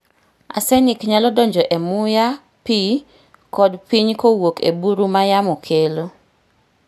Arsenic nyalo donjo e muya, pi, kod piny kowuok e buru ma yamo kelo.